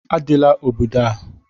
Adịla obodo a!